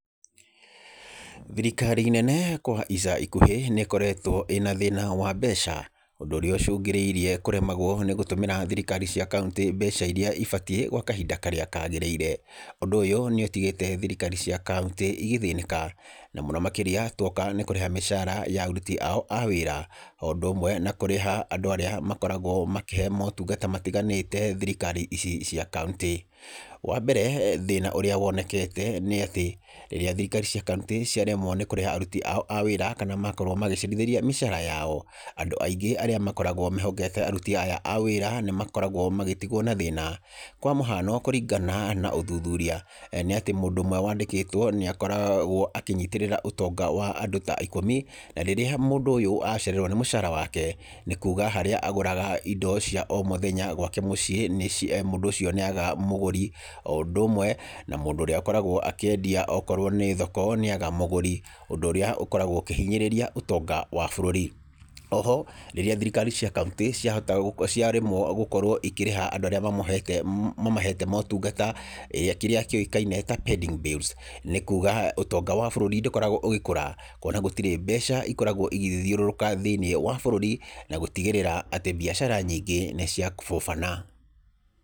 Thirikari nene kwa ica ikũhe nĩ ĩkoretwo ĩna thĩna wa mbeca. Ũndũ ũrĩa ũcungĩrĩirie kũremagwo nĩ gũtũmĩra thirikari cia kauntĩ mbeca irĩa ibatiĩ, gwa kahinda karĩa kagĩrĩire. Ũndũ ũyũ nĩ ũtigĩte thirikari cia kauntĩ igĩthĩnĩka, na mũno makĩria twoka nĩ kũrĩha mĩcara ya aruti ao a wĩra, o ũndũ ũmwe na kũrĩha andũ arĩa makoragwo makĩhe motungata matiganĩte thirikari ici cia kauntĩ. Wambere thĩna ũrĩa wonekete nĩ atĩ rĩrĩa thirikari cia kauntĩ ciaremwo nĩ kũrĩha aruti ao a wĩra, kana makorwo magĩcerithĩria micara yao, andũ aingĩ arĩa makoragwo mehokete aruti aya a wĩra nĩ makoragwo magĩtĩgwo na thĩna. Kwa mũhano kũrĩngana na ũthuthuria, nĩ atĩ mũndũ ũmwe wandĩkĩtwo nĩ akoragwo akĩnyitĩrĩra ũtonga wa andũ ta ikũmi. Na rĩrĩa mũndũ ũyũ a cererwo nĩ mũcara wake nĩ kuuga harĩa agũraga indo cia omũthenya gwake mũciĩ mũndũ ũcio nĩ aga mũgũrĩ. O ũndũ ũmwe mũndũ ũrĩa akoragwo akĩendia okorwo nĩ thoko nĩaga mũgũrĩ. Ũndũ ũrĩa ũkoragwo ũkĩhinyĩrĩria ũtonga wa bũrũri. Oho rĩrĩa thirikari cia kauntĩ ciaremwo gũkorwo ikĩrĩha andũ arĩa mamahete motungata, kĩrĩa kĩũkaine ta pending bills, nĩ kuuga ũtonga wa bũrũri ndũkoragwo ũgĩkũra kũona gũtĩre mbeca ikoragwo igĩthĩurũrũka thĩinĩ wa bũrũri, na gũtĩgĩrĩra atĩ biacara nyingĩ nĩ cia kũbũbana.